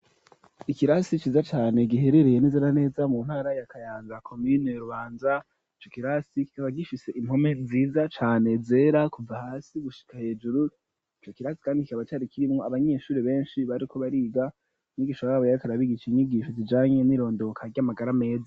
Ikirasi ciza cane giherereye neza na neza mu ntara ya Kayanza, komine Kayanza, ico kirasi kikaba gifise impome nziza cane zera kuva hasi gushika hejuru, ico kirasi kandi kikaba cari kirimwo abanyeshuri benshi bariko bariga, mwigisha wabo yariko arabigisha inyigisho zijanye n'irondoka ry'amagara meza.